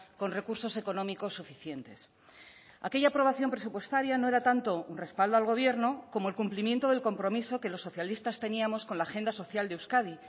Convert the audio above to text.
con recursos económicos suficientes aquella aprobación presupuestaria no era tanto un respaldo al gobierno como el cumplimiento del compromiso que los socialistas teníamos con la agenda social de euskadi